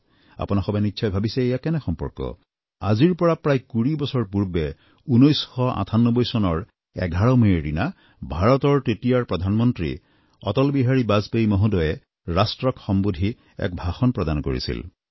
আপোনাসৱে নিশ্চয় ভাবিছে এয়া কেনেকুৱা সম্পৰ্ক আজিৰ পৰা প্ৰায় কুৰি বছৰ পূৰ্বে ১৯৯৮ চনৰ ১১ মেৰ দিনা ভাৰতৰ তেতিয়াৰ প্ৰধানমন্ত্ৰী অটল বিহাৰী বাজপেয়ী মহোদয়ে ৰাষ্ট্ৰক সম্বোধি এক ভাষণ প্ৰদান কৰিছিল